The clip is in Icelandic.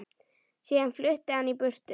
Síðan flutti hann í burtu.